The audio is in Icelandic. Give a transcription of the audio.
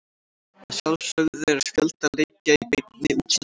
Að sjálfsögðu er fjölda leikja í beinni útsendingu á Sýn.